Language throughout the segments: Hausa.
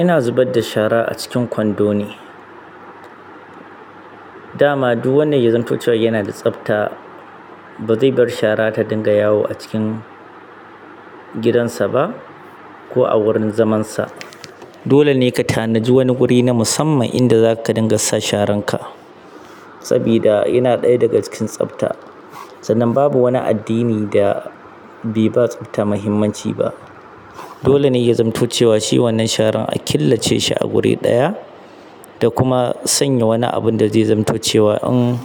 Ina zubadda shara a cikin kwando ne. Da ma duk wanda ya zamto cewa yana da tsafta, ba zai bar shara ta dinga yawo a cikin gidansa ba ko a wurin zamansa. Dole ne ka tanadi wani guri na musamman inda zaka dinga sa sharan ka. Sabida yana ɗaya daga cikin tsafta, sannan babu wani addini da bai ba tsafta muhimmanci ba. Dole ne ya zamantace cewa shi wannan sharan a killace shi a guri ɗaya da kuma sanya wani abun da zai zamto cewa wa in,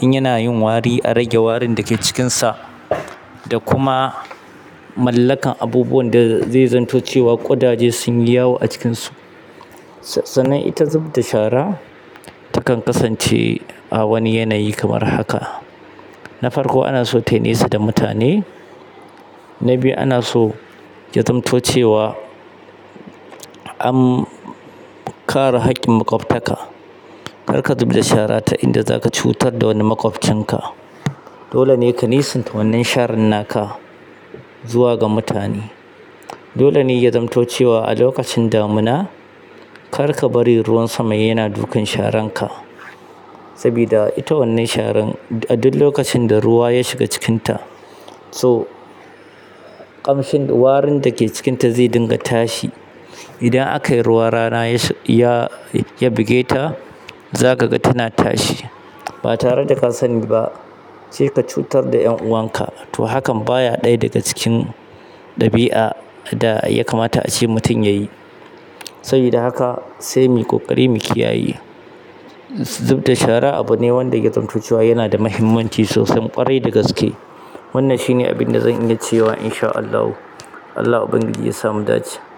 in yana yin wari, a rage warin da ke cikinsa da kuma mallakar abubuwan da zai zamto cewa ƙudaje sun yi yawo a cikinsu. Sannan ita zub da shara takan kasance a wani yanayi kamar haka. Na farko ana so tai nesa da mutane. Na biyu ana so ya zamto cewa an, kare haƙƙin maƙwabtaka. Kar ka zub da shara ta inda zaka cutar da wani maƙwabcin ka. Na biyu ana so ya zamto cewa an, kare haƙƙin maƙwabtaka. Dole ne ya zamto cewa a lokacin damina kar ka bari ruwan sama yana dukan sharan ka. Sabida ita wannan sharan a duk lokacin da ruwa ya shiga cikinta, so ƙamshin warin da ke cikinta zai dinga tashi. Idan aka yi ruwa rana ya, ya buge ta, za kaga tana tashi. Ba tare da ka sani ba sai ka cutar da ƴan uwan ka. To hakan baya ɗaya daga cikin ɗabi'a da ya kamata ace mutum yayi. Sabida haka sai mu koƙari mu kiyaye. Zub da shara abu ne wanda ya zamto cewa yana da muhimmanci sosai ƙwarai da gaske. Wannan shi ne abin da zan iya ce wa insha Allahu. Allah Ubangiji ya sa mu dace.